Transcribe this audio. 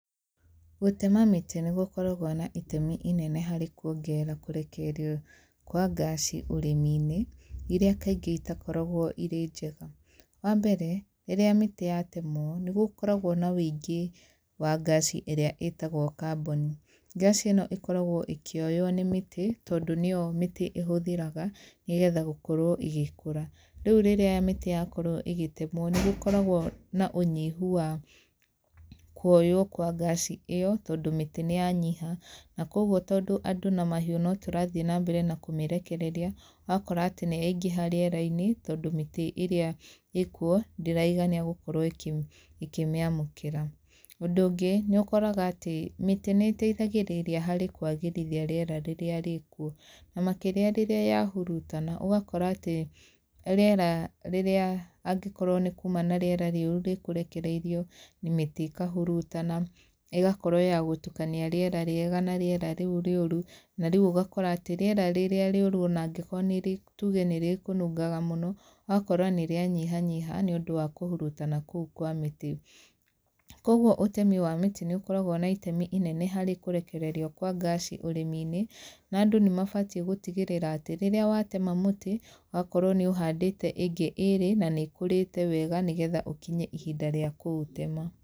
Gũtema mĩtĩ nĩ gũkoragwo na itemi inene harĩ kuongerera kũrekererio kwa ngaci ũrĩmi-inĩ, irĩa kaingĩ itakoragwo irĩ njega. Wa mbere, rĩrĩa mĩtĩ yatemwo, nĩ gũkoragwo na wĩingĩ wa ngaci ĩrĩa ĩtagwo carbon. Ngaci ĩno ĩkoragwo ĩkĩoywo nĩ mĩtĩ, tondũ nĩyo mĩtĩ ĩhũthĩraga, nĩgetha gũkorwo ĩgĩkũra. Rĩu rĩrĩa mĩtĩ yakorwo ĩgĩtemwo, nĩ gũkoragwo na ũnyihu wa kuoyũo kwa ngaci ĩyo, tondũ mĩtĩ nĩ yanyiha. Na kũguo tondũ andũ na mahiũ na tũrathiĩ na mbere na kũmĩrekereria, ũgakora atĩ nĩ yaingĩha rĩera-inĩ, tondũ mĩtĩ ĩrĩa ĩĩ kuo, ndĩraigania gũkorwo ĩkĩmĩamũkĩra. Ũndũ ũngĩ, nĩ ũkoraga atĩ, mĩtĩ nĩ ĩteithagĩrĩria harĩ kwagĩrithia rĩera rĩrĩa rĩ kuo. Na makĩria rĩrĩa yahurutana, ũgakora atĩ, rĩera rĩrĩa angĩkorwo nĩ kuuma na rĩera rĩũru rĩkũrekereirio, mĩtĩ ĩkahurutana, ĩgakorwo ya gũtukania rĩera rĩega na rĩera rĩu rĩũru. Na rĩu ũgakora atĩ, rĩera rĩrĩa rĩũru ona angĩkorwo tuge nĩ rĩkũnungaga mũno, ũgakora nĩ rĩanyihanyiha nĩ ũndũ wa kũhurutana kũu kwa mĩtĩ. Kũguo ũtemi wa mĩtĩ nĩ ũkoragwo na itemi inene harĩ kũrekererio kwa ngaci ũrĩmi-inĩ, na andũ nĩ mabatiĩ gũtigĩrĩra atĩ, rĩrĩa watema mũtĩ, ũgakorwo nĩ ũhandĩte ĩngĩ ĩĩrĩ, na nĩ ĩkũrĩte wega nĩgetha ũkinye ihinda rĩa kũũtema.